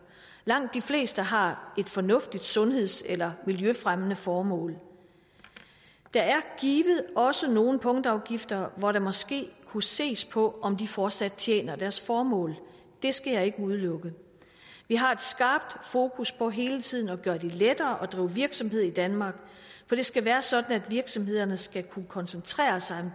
langt de fleste har et fornuftigt sundheds eller miljøfremmende formål der er givet også nogle punktafgifter hvor der måske kunne ses på om de fortsat tjener deres formål det skal jeg ikke udelukke vi har et skarpt fokus på hele tiden at gøre det lettere at drive virksomhed i danmark for det skal være sådan at virksomhederne skal kunne koncentrere sig